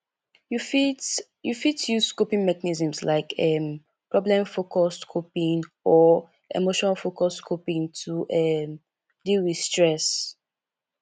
you fit you fit use coping mechanisms like um problemfocused coping or emotionfocused coping to um deal with stress